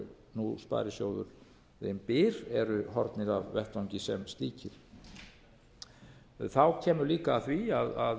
nú sparisjóðurinn byr eru horfnir af vettvangi sem slíkir kemur líka að því að